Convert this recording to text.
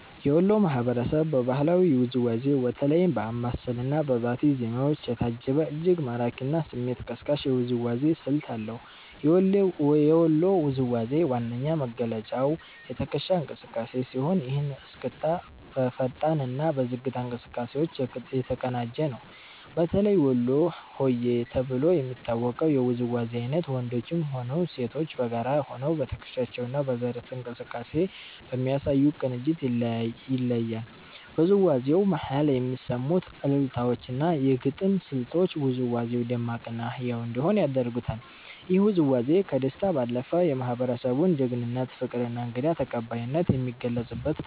የወሎ ማህበረሰብ በባህላዊ ውዝዋዜው በተለይም በአምባሰል እና በባቲ ዜማዎች የታጀበ፤ እጅግ ማራኪ እና ስሜት ቀስቃሽ የውዝዋዜ ስልት አለው። የወሎ ውዝዋዜ ዋነኛ መገለጫው የትከሻ እንቅስቃሴ ሲሆን፤ ይህ እስክስታ በፈጣን እና በዝግታ እንቅስቃሴዎች የተቀናጀ ነው። በተለይ ወሎ ሆዬ ተብሎ የሚታወቀው የውዝዋዜ አይነት ወንዶችም ሆኑ ሴቶች በጋራ ሆነው በትከሻቸው እና በደረት እንቅስቃሴ በሚያሳዩት ቅንጅት ይለያል። በውዝዋዜው መሃል የሚሰሙት አልልታዎች እና የግጥም ስልቶች ውዝዋዜው ደማቅ እና ህያው እንዲሆን ያደርጉታል። ይህ ውዝዋዜ ከደስታ ባለፈ፣ የማህበረሰቡን ጀግንነት፣ ፍቅር እና እንግዳ ተቀባይነት የሚገልጽበት ነው።